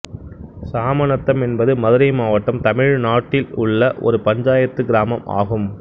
சாமநத்தம் என்பது மதுரை மாவட்டம் தமிழ்நாடு இல் உள்ள ஒரு பஞ்சாயத்துக் கிராமம் ஆகும்